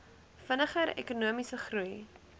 vinniger ekonomiese groei